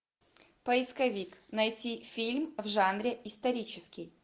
поисковик найти фильм в жанре исторический